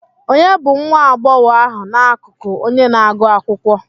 Ònye bụ nwa agbọghọ ahụ n'akụkụ onye na-agụ akwụkwọ?